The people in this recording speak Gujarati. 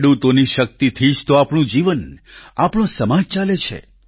ખેડૂતોની શક્તિથી જ તો આપણું જીવન આપણો સમાજ ચાલે છે